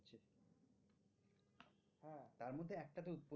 হ্যাঁ তার মধ্যে একটাতে